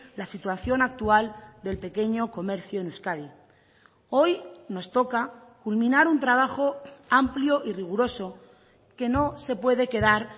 la situación actual del pequeño comercio en euskadi hoy nos toca culminar un trabajo amplio y riguroso que no se puede quedar